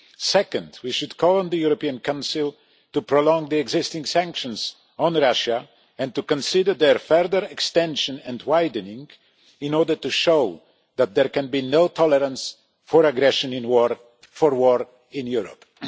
Secondly, we should call on the European Council to prolong the existing sanctions on Russia and to consider their further extension and widening in order to show that there can be no tolerance for aggression for war in Europe.